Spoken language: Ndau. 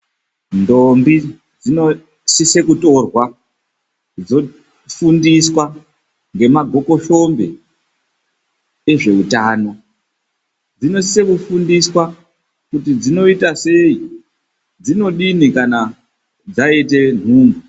Ndombi dzinosise kutorwa dzofundiswa ngemagokoshombe ezveutano. Dzinosise kufundiswa kuti dzinoitasei, dzinodini kana dzaite nhumbu.